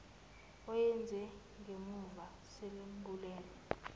awenze ngemumva selimbulele